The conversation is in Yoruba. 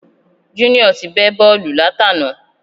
Junior ti bẹ́ bọ́ọ̀lù látàná